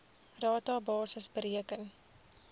rata basis bereken